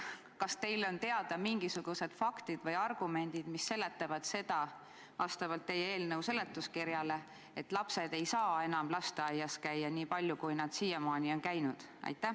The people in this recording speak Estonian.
Kas teile on teada mingisugused faktid, mis viitavad, et lapsed ei saa enam lasteaias käia nii palju, kui nad siiamaani on käinud?